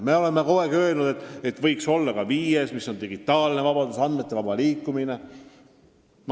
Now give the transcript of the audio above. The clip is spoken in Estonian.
Me oleme kogu aeg öelnud, et võiks olla ka viies, mis on digitaalne vabadus, andmete vaba liikumine.